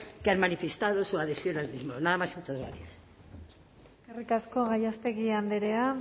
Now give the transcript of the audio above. que han manifestado su adhesión al mismo nada más y muchas gracias eskerrik asko gallástegui andrea